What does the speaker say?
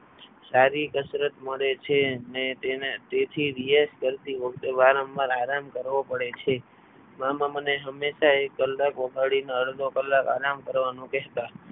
સારી કસરત મળે છે ને તેને તેથી વીએસ કરતી વખતે વારંવાર આરામ કરવો પડે છે મામા મને હંમેશા એક કલાક વગાડીને અડધો કલાક આરામ કરવાનું કહેતા.